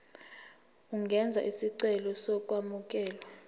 ungenza isicelo sokwamukelwa